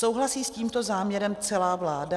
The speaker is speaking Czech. Souhlasí s tímto záměrem celá vláda?